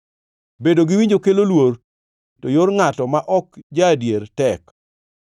Bedo gi winjo kelo luor, to yor ngʼato ma ok ja-adier tek.